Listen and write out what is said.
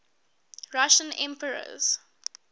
russian emperors